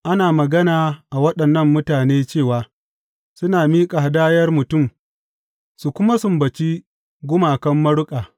Ana magana waɗannan mutane cewa, Suna miƙa hadayar mutum su kuma sumbaci gumakan maruƙa.